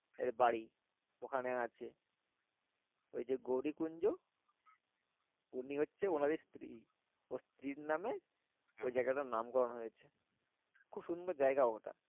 এই বাড়ি ওই খানে আছে ওই যে গৌরীকুঞ্জ উনি হচ্ছে ওনার স্ত্রী স্ত্রী নাম ওই জায়গাটা নামকরণ হয়েছে খুবসুন্দর জায়গা ওটা।